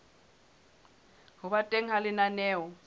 ho ba teng ha lenaneo